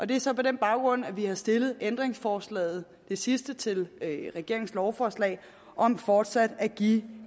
det er så på den baggrund at vi har stillet ændringsforslaget det sidste til regeringens lovforslag om fortsat at give